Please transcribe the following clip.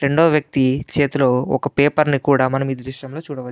రెండో వ్యక్తి చేతులో ఒక పేపర్ కూడా ఏ దృశ్యంలో చూడవచ్చు --